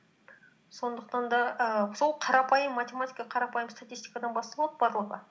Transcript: сондықтан да ііі сол қарапайм математика қарапайым статистикадан басталады барлығы